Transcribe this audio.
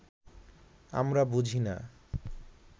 আমরা বুঝি না